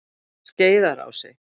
Skeiðarási